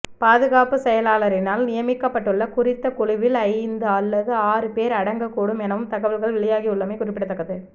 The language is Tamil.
பாதுகாப்பு செயலாளரினால் நியமிக்கப்பட்டுள்ள குறித்த குழுவில் ஐந்து அல்லது ஆறு பேர் அடங்கக் கூடும் எனவும் தகவல்கள் வெளியாகியுள்ளமை குறிப்பிடத்தக்கது